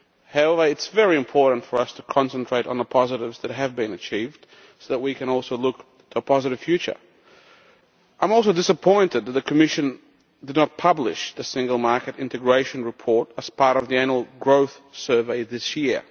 However, it is very important for us to concentrate on the positives that have been achieved so that we can also look to a positive future. I am also disappointed that the Commission did not publish the single market integration report as part of the Annual Growth Survey this year.